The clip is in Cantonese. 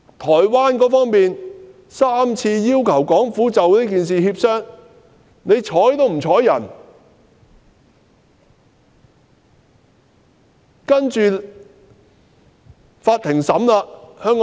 台灣當局曾3次要求港府就此事進行協商，但港府卻不瞅不睬。